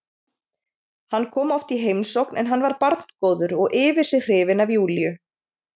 Hann kom oft í heimsókn en hann var barngóður og yfir sig hrifinn af Júlíu.